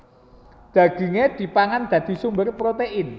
Dagingé dipangan dadi sumber protein